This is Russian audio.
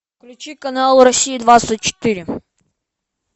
включи канал россия двадцать четыре